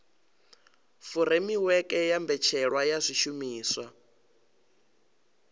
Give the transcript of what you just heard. furemiweke ya mbetshelwa ya zwishumiswa